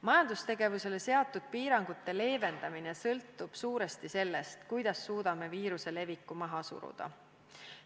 Majandustegevusele seatud piirangute leevendamine sõltub suuresti sellest, kuidas suudame viiruse leviku maha suruda.